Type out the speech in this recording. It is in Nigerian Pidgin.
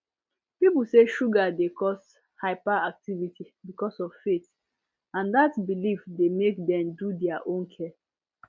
people say sugar dey cause hyperactivity because of faith and dat belief dey make dem do their own care